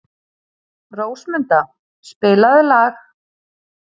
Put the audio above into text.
Rósmunda, spilaðu lag.